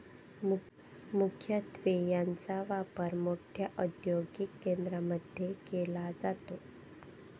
मुख्यत्वे याचा वापर मोठ्या औदयोगिक केंद्रामध्ये केला जातो.